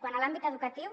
quant a l’àmbit educatiu